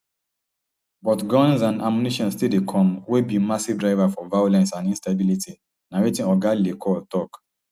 but guns and ammunition still dey come wey be massive driver for violence and instability na wetin oga le cour tok